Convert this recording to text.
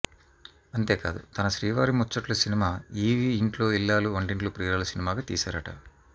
అంతే కాదు తన శ్రీవారి ముచ్చట్లు సినిమా ఈవీవీ ఇంట్లో ఇల్లాలు వంటింట్లో ప్రియురాలు సినిమాగా తీశారట